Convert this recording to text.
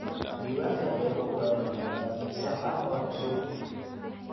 Diiwaanka beeruhu waa inuu noqdaa mid sax ah oo cusub.